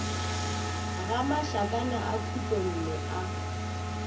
ga mašakana a khutlonne a